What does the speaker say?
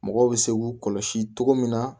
Mɔgɔw bɛ se k'u kɔlɔsi cogo min na